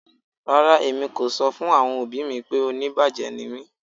Rárá, èmi kò sọ̀ fún àwọn ọbì mí pé ọ̀níbájẹ̀ ní mí.